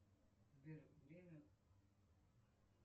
сбер время